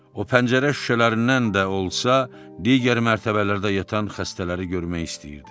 O pəncərə şüşələrindən də olsa digər mərtəbələrdə yatan xəstələri görmək istəyirdi.